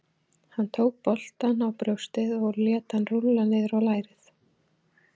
Hann tók boltann á brjóstið og lét hann rúlla niður á lærið.